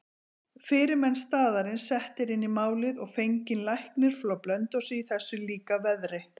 Fyrirmenn staðarins settir inn í málið og fenginn læknir frá Blönduósi í þessu líka veðri.